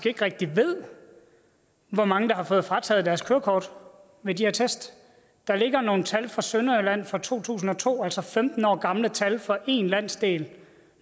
ikke rigtig ved hvor mange der har fået frataget deres kørekort ved de her test der ligger nogle tal fra sønderjylland fra to tusind og to altså femten år gamle tal fra én landsdel